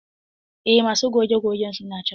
Eh masu goge gogen suna nan.